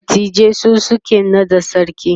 dattijai su suke naɗa sarki